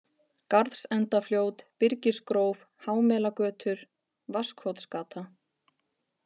Garðsendafljót, Byrgisgróf, Hámelagötur, Vatnskotsgata